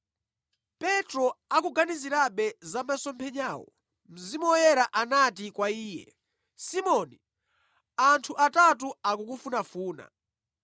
Petro akuganizirabe za masomphenyawo, Mzimu Woyera anati kwa iye, “Simoni, anthu atatu akukufunafuna.